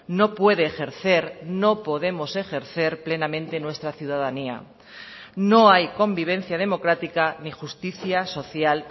no puede ejercer no podemos ejercer plenamente nuestra ciudadanía no hay convivencia democrática ni justicia social